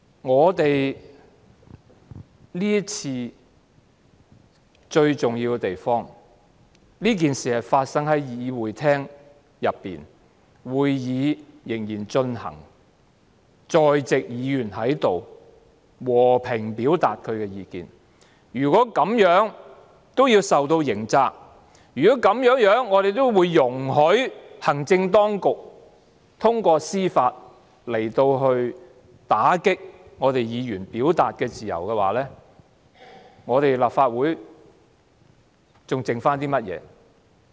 這次事件最重要的一點是，事情發生在會議廳內，當時會議仍在進行中，在席議員只是和平表達意見，如果這樣也要負上刑責，如果我們容許行政當局通過司法程序打擊議員的表達自由，那麼立法會還剩下甚麼呢？